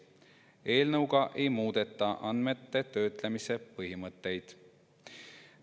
Eelnõuga ei muudeta andmete töötlemise põhimõtteid.